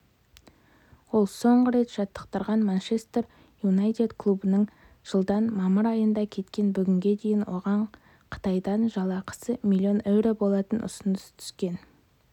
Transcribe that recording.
ол соңғы рет жаттықтырған манчестер юнайтед клубынан жылдың мамыр айында кеткен бүгінге дейін оған қытайдан жалақысы миллион еуро болатын ұсыныс түскен